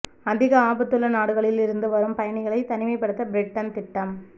அதிக ஆபத்துள்ள நாடுகளில் இருந்து வரும் பயணிகளை தனிமைப்படுத்த பிரிட்டன் திட்டம்